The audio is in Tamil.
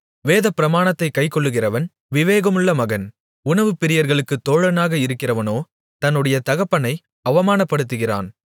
வேதப்பிரமாணத்தைக் கைக்கொள்ளுகிறவன் விவேகமுள்ள மகன் உணவுப்பிரியர்களுக்குத் தோழனாக இருக்கிறவனோ தன்னுடைய தகப்பனை அவமானப்படுத்துகிறான்